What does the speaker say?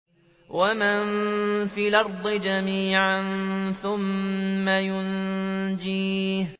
وَمَن فِي الْأَرْضِ جَمِيعًا ثُمَّ يُنجِيهِ